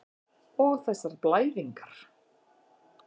Og þessar blæðingar.